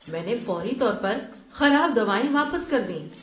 میں نے فوری طور پر خراب دوائیں واپس کر دیں۔